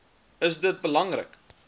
is dit belangrik